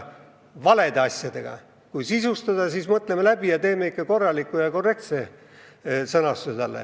Kui aga tahame seda sisustada, siis mõtleme asja läbi ja leiame ikka korrektse sõnastuse.